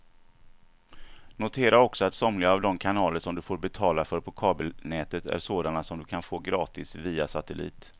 Notera också att somliga av de kanaler som du får betala för på kabelnätet är sådana som du kan få gratis via satellit.